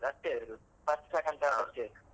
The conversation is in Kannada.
ಅಷ್ಟೇ ಇರುದು first second third ಅಷ್ಟೇ ಇರುದು.